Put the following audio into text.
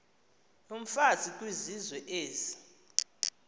yomfazi kwizizwe ezi